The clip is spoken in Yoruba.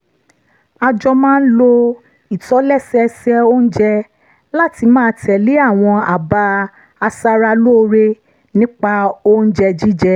a jọ máa ń lo ìtòlẹ́sẹẹsẹ oúnjẹ láti máa tẹ̀lé àwọn àbá aṣaralóore nípa oúnjẹ jíjẹ